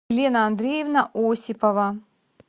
лена андреевна осипова